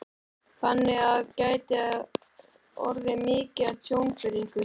Þannig að þetta gæti orðið mikið tjón fyrir ykkur?